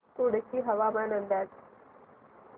कुडची हवामान अंदाज